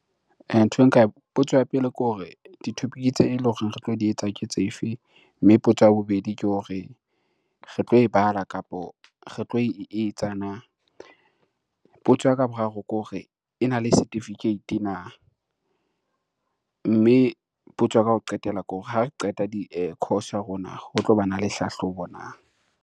Nthwe nka, potso ya pele ke hore di-topic tse eleng hore re tlo di etsa ke tse fe? Mme potso ya bobedi ke hore re tlo e bala kapo re tlo e etsa na? Potso ya ka ya boraro ke hore ena le setifikeiti na? Mme potso ya ka ya ho qetela ke hore ha re qeta di course ya rona ho tlo bana le hlahlobo na?